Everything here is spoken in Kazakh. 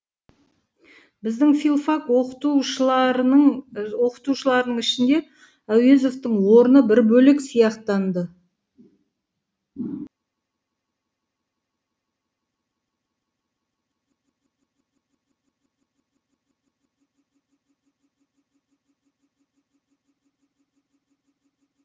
біздің филфак оқытушыларының ішінде әуезовтың орны бір бөлек сияқтанды